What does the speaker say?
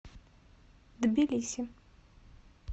тбилиси